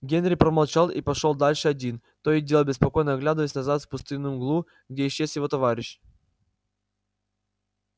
генри промолчал и пошёл дальше один то и дело беспокойно оглядываясь назад в пустынную мглу где исчез его товарищ